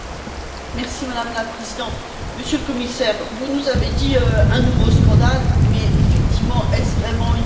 Madame la Présidente, Monsieur le Commissaire, vous nous avez dit que c'est un nouveau scandale mais, effectivement, est ce vraiment une surprise?